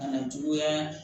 Kana juguya